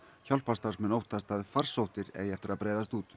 hjálparstarfsmenn óttast að farsóttir eigi eftir að breiðast út